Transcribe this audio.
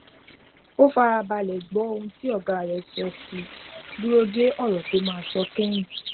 ó fara balè gbó ohun tí ọga rè sọ ó sì dúró de òrò tó máa sọ kéyìn